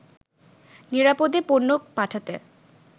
নিরাপদে পণ্য পাঠাতে